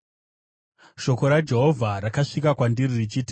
Shoko raJehovha rakasvika kwandiri richiti,